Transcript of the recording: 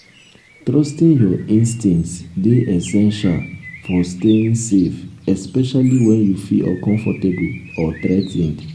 trusting your instincts dey essential for staying safe especially when you feel uncomfortable or threa ten ed.